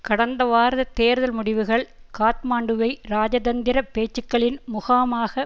கடந்த வார தேர்தல் முடிவுகள் காத்மாண்டுவை இராஜதந்திர பேச்சுக்களின் முகாமாக